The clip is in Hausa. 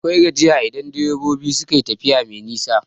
Akwai gajiya idan direbobi suka tafiya mai nisa.